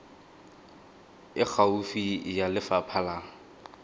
e gaufi ya lefapha la